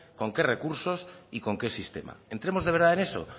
con qué recursos y con qué sistema entremos de verdad en eso